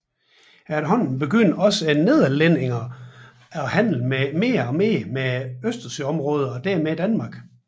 Efterhånden begyndte også nederlænderne at handle mere med østersøområdet og dermed Danmark